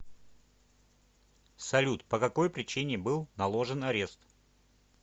салют по какой причине был наложен арест